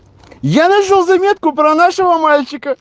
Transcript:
я нашёл заметку про нашего мальчика